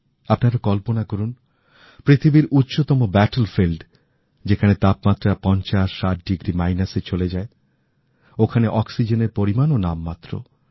আপনারা কল্পনা করুন পৃথিবীর উচ্চতম যুদ্ধক্ষেত্র যেখানে তাপমাত্রা ৫০ ৬০ ডিগ্রী মাইনাসে চলে যায় ওখানে অক্সিজেনের পরিমানওনামমাত্র